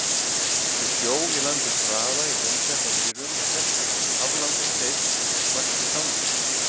Við sjó í landi Traða í Hraunhreppi á Mýrum er Hestur, aflangur steinn vaxinn þangi.